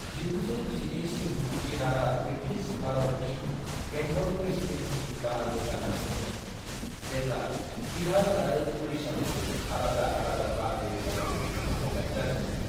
1912 सिम बिहारा ब्रिटिश भारत नि बेंगल प्रेसीडेंसीनि बाहागो जाना दंमोन जेब्ला बिहार आऱो उड़ीसाखौ आलादा आलादा बाहागो हिसाबै बोखावनाय जादोंमोन।